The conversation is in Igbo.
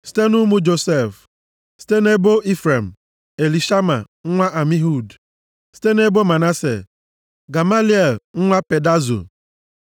Site nʼụmụ Josef: site nʼebo Ifrem, Elishama nwa Amihud site nʼebo Manase, Gamaliel nwa Pedazo